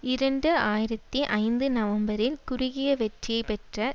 இரண்டு ஆயிரத்தி ஐந்து நவம்பரில் குறுகிய வெற்றியை பெற்ற